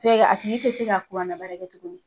a tigi te se ka na baara kɛ tuguni.